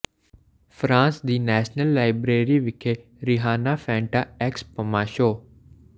France ਦੀ national library ਵਿਖੇ Rihanna Fenty x Puma show